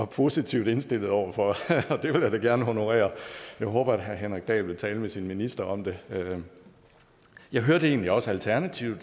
positivt indstillet over for det vil jeg da gerne honorere jeg håber at herre henrik dahl vil tale med sin minister om det jeg hørte egentlig også at alternativet